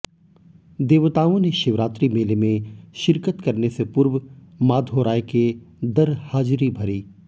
देवताओं ने शिवरात्रि मेले में शिरकत करने से पूर्व माधोराय के दर हाजिरी भरी